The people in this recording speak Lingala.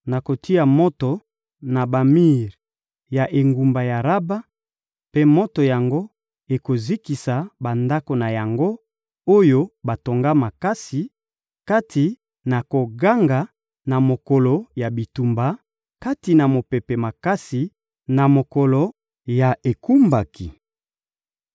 Nakotia moto na bamir ya engumba ya Raba, mpe moto yango ekozikisa bandako na yango, oyo batonga makasi, kati na koganga na mokolo ya bitumba, kati na mopepe makasi na mokolo ya ekumbaki.